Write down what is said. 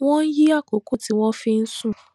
wón yí àkókò tí wón fi ń sùn